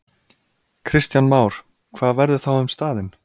Kristján Már: Hvað verður þá um staðinn?